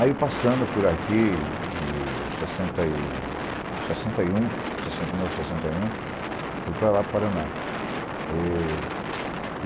Aí eu passando por aqui, em sessenta e sessenta e um, sessenta e nove, sessenta e um, fui para lá, Paraná. E